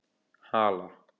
Hala